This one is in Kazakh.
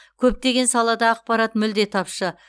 көптеген салада ақпарат мүлде тапшы